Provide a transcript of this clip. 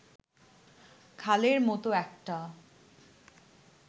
খালের মত একটা